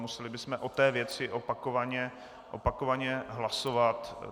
Museli bychom o té věci opakovaně hlasovat.